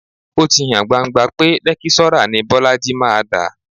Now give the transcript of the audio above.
Ó ti hàn gbangba pé lẹ́kíṣọ́rà ni Bọ́lájí máa dà